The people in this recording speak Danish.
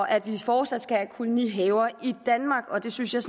af at vi fortsat skal have kolonihaver i danmark og det synes jeg